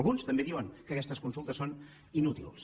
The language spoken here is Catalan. alguns també diuen que aquestes consultes són inútils